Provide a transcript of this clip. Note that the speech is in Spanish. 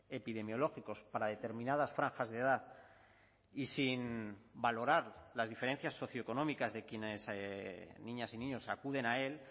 epidemiológicos para determinadas franjas de edad y sin valorar las diferencias socioeconómicas de quienes niñas y niños acuden a él